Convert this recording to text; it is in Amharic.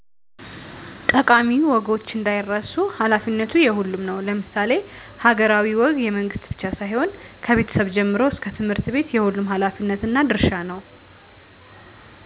ጠቃሚ ወጎች እንዳይረሱ ሃላፊነቱ የሁሉም ነው ለምሳሌ ሀገራሀዊ ወግ የመንግስት ብቻ ሳይሆን ከቤቸሰብ ጀምሮ እሰከ ትምህርትቤት የሁሉም ሀላፊነትና ድርሻ ነው